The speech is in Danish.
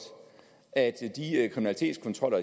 at